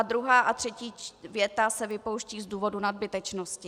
A druhá a třetí věta se vypouští z důvodu nadbytečnosti.